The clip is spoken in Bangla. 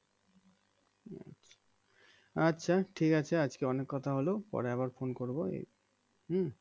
আচ্ছা ঠিক আছে আজকে অনেক কথা হলো পরে আবার phone করবো হম